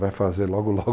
Vai fazer logo, logo.